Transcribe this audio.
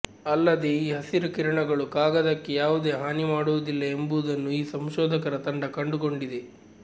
ಅಲ್ಲದೆ ಈ ಹಸಿರು ಕಿರಣಗಳು ಕಾಗದಕ್ಕೆ ಯಾವುದೇ ಹಾನಿ ಮಾಡುವುದಿಲ್ಲ ಎಂಬುದನ್ನೂ ಈ ಸಂಶೋಧಕರ ತಂಡ ಕಂಡುಕೊಂಡಿದೆ